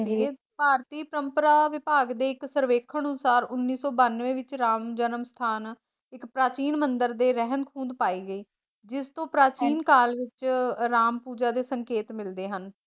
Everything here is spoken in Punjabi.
ਭਾਰਤੀ ਪਰੰਮਪਰਾ ਵਿਭਾਗ ਦੇ ਇੱਕ ਸਰਵੇਖਣ ਅਨੂਸਾਰ ਉਨੀ ਸੋ ਬਨਵੇ ਵਿੱਚ ਰਾਮ ਜੀ ਦਾ ਜਨਮ ਸਥਾਨ ਇੱਕ ਪ੍ਰਾਚੀਨ ਮੰਦਿਰ ਦੇ ਰਹਿੰਦ - ਖੂੰਦ ਪਾਈ ਗਈ ਜਿਸਤੋਂ ਪ੍ਰਾਚੀਨ ਕਾਲ ਵਿੱਚ ਅਹ ਰਾਮ ਪੂਜਾ ਦੇ ਸੰਕੇਤ ਮਿਲਦੇ ਹਨ।